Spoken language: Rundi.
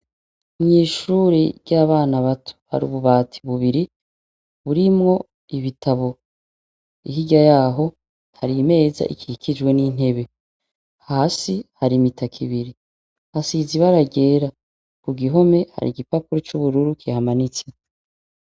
Mwishure ryabana bato hari ububati bubiri burimwo ibitabo hirya yaho harimeza ikijwe nintebe hasi hari imitaka ibiri hasize ibara ryera kugihome hari igipapuro cubururu kihamanitse